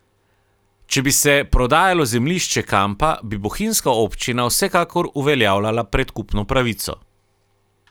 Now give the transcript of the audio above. Če bi se prodajalo zemljišče kampa, bi bohinjska občina vsekakor uveljavljala predkupno pravico.